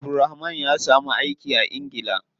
Abdulrahman ya samu aiki a ingila.